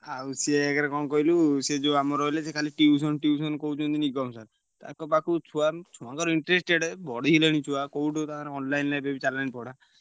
ଆଉ ସିଏ ଏକରେ କଣ କହିଲୁ ସିଏ ଯୋଉ ଆମର ରହିଲେ ସିଏ ଖାଲି tuition tuition କହୁଛନ୍ତି ନିଗମ sir ତାଙ୍କ ପାଖୁକୁ ଛୁଆ ଛୁଆଙ୍କର interested ବଢିଲେଣି ଛୁଆ। କୋଉଠି ତାଙ୍କର online ରେ ଏବେବି ଚାଲିଲାଣି ପଢା।